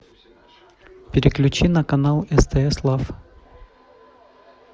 переключи на канал стс лав